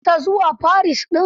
Ka fasa zuwa Paris din?